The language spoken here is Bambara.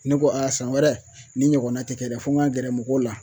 Ne ko a san wɛrɛ ni ɲɔgɔnna tɛ kɛ dɛ fo n ka gɛrɛ mɔgɔw la